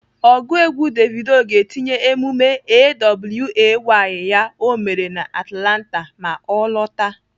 Ọgụ egwu Davido ga-etinye emume A.W.A.Y ya o mere na Atlanta ma ọ lọtaa.